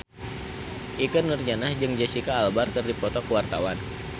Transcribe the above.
Ikke Nurjanah jeung Jesicca Alba keur dipoto ku wartawan